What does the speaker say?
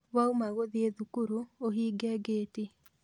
Wauma gũthiĩ thukuru ũhinge gĩti